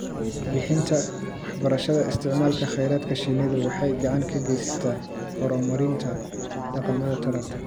Bixinta waxbarashada isticmaalka kheyraadka shinnidu waxay gacan ka geysataa horumarinta dhaqamada taranta.